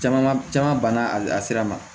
Jama ma caman banna a sira ma